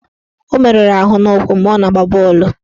Ọ meruru ahụ n'ụkwụ mgbe ọ na-agba bọọlụ.